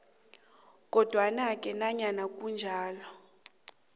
kodwanake nanyana kunjalo